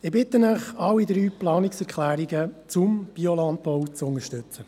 Ich bitte Sie, alle drei Planungserklärungen zum Biolandbau zu unterstützen.